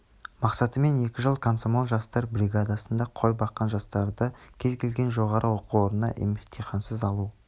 мақсатымен екі жыл комсомол жастар бригадасында қой баққан жастарды кез келген жоғарғы оқу орнына емтихансыз алу